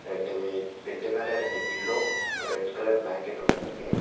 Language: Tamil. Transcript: பெட்டு மேல ரெண்டு பில்லோ ரெட் கலர் பிளாங்கெட் ஒன்னு இருக்கு.